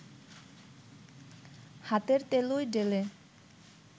হাতের তেলোয় ঢেলে